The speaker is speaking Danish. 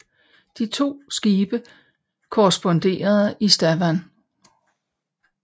De to skibe korresponderede i Stavern